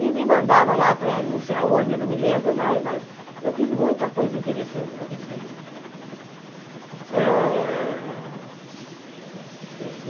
E me mandava lá para não sei aonde, não me lembro mais, mas eu fiz muita coisa interessante naquele período. Ah